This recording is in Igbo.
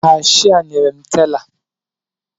Kashịa nyere m tela